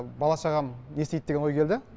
бала шағам не істейді деген ой келді